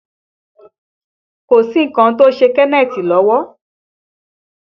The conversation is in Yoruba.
Kò sí nǹkan tí ó ṣe Kenneth lọ́wọ́